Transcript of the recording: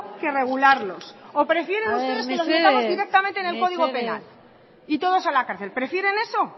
que regularlo o prefieren ustedes que los metamos directamente en el código penal y todos a la cárcel prefieren eso